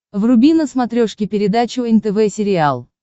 вруби на смотрешке передачу нтв сериал